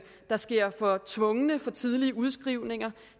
der sker for tvungne og for tidlige udskrivninger